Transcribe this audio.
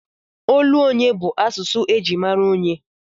Olu onye bụ asụsụ eji mara onyé.